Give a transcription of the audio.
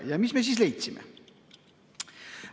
Ja mis ma leidsin?